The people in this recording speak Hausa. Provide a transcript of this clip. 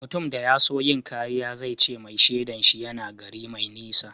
Mutum da ya so yin kariya zai ce mai shaidan shi yana gari mai nisa.